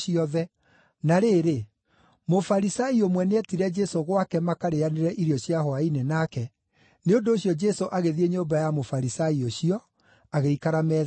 Na rĩrĩ, Mũfarisai ũmwe nĩetire Jesũ gwake makarĩanĩre irio cia hwaĩ-inĩ nake, nĩ ũndũ ũcio Jesũ agĩthiĩ nyũmba ya Mũfarisai ũcio, agĩikara metha-inĩ.